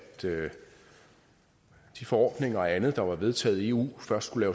de forordninger og andet der var vedtaget i eu først skulle